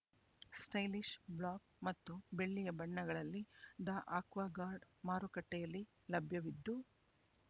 stylish black ಮತ್ತು ಬೆಳ್ಳಿಯ ಬಣ್ಣಗಳಲ್ಲಿ ಡಾ ಆಕ್ವಾಗಾರ್ಡ್ ಮಾರುಕಟ್ಟೆಯಲ್ಲಿ ಲಭ್ಯವಿದ್ದು